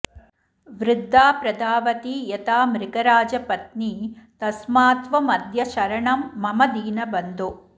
वृद्धा प्रधावति यथा मृगराजपत्नी तस्मात्त्वमद्य शरणं मम दीनबन्धो